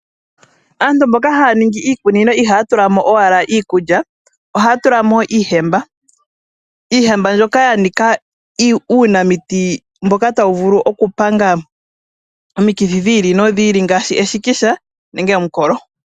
Aantu mboka haya ningi iikunino ihaya tula mo owala iikulya, oha ya tula mo iihemba. Iihemba ndjoka ya nika uunamiti mboka ta wu vulu okupanga omikithi dhi li nodhi li ngaashi eshikisha nenge omukalo.